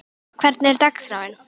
Gísla, hvernig er dagskráin?